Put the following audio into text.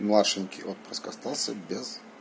младшенький отпрыск остался без